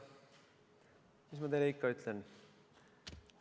Mis ma teile ikka ütlen?